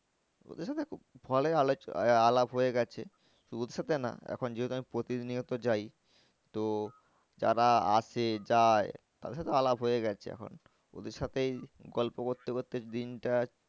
ওদের সাথে আলাপ হয়ে গেছে। শুধু ওদের সাথে না এখন যেহেতু আমি প্রতিনিয়ত যাই তো যারা আসে যায় তাদের সাথে আলাপ হয়ে গেছে এখন ওদের সাথেই গল্প করতে করতে দিনটা